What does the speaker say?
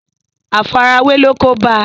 àfarawé ló kóbá a